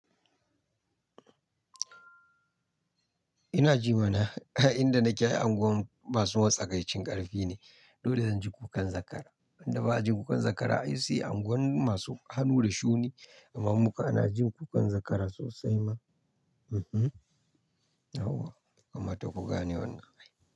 Ina ji mana ai inda nake ai unguwan masu matsakaicin ƙarfi ne. Dole zanji kukan zakara. Inda ba'a jin kukan zakara, ai sai a unguwannin masu hannu da shuni, amma muka na jin kukan zakara sosai ma. Hawwa, ya kamata kuga ne wannan.